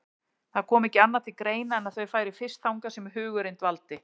Það kom ekki annað til greina en að þau færu fyrst þangað sem hugurinn dvaldi.